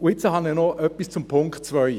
Nun habe ich noch etwas zum Punkt 2: